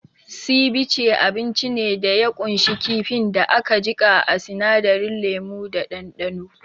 Sivice abinci ne da ya kunshi kifin da aka jika a sinadarin lemu da ɗanɗano